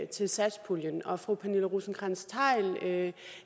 til satspuljen og fru pernille rosenkrantz theil